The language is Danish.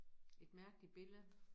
Et mærkeligt billede